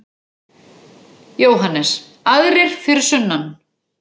JÓHANNES: Aðrir fyrir sunnan!